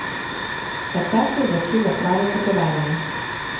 Takrat se je začelo pravo potovanje.